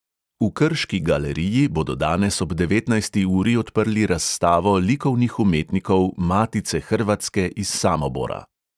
V krški galeriji bodo danes ob devetnajsti uri odprli razstavo likovnih umetnikov matice hrvatske iz samobora.